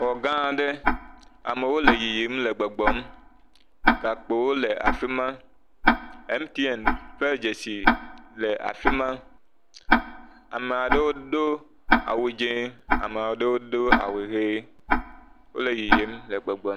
Xɔ gã aɖe, amewo le yiyim le gbɔgbɔm. Gakpowo le afi ma, MTN ƒe dzesi le afi ma. Ame aɖewo do awu dzɛ̃ eye ame aɖewo do awu ʋi.